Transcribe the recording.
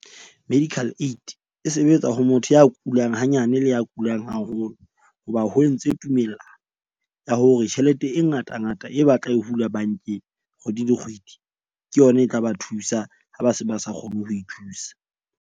Medical aid e sebetsa ho motho ya kulang hanyane, le ya kulang haholo. Hoba ho entse tumellano ya hore tjhelete e ngata ngata e batla e hula bank-eng kgwedi le kgwedi. Ke yona e tla ba thusa ha ba se ba sa kgone ho ithusa.